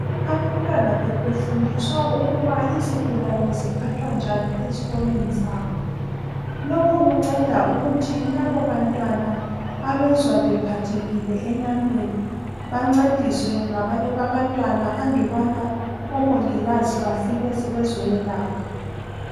Abantwana bebefundiswa ukuba izigulane ziphathwa njani ezikolweni zabo. Lokho kunceda ukuthi labobantwana abezwa bephathekile enyameni bancediswe ngabanye babantwana andubana omongikazi bafike sebezoyelapha.